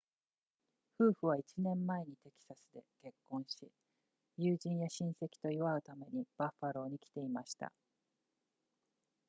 夫婦は1年前にテキサスで結婚し友人や親戚と祝うためにバッファローに来ていました